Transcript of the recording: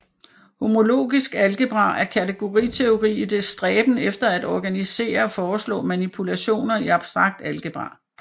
Homologisk algebra er kategoriteori i dets stræben efter at organisere og foreslå manipulationer i abstrakt algebra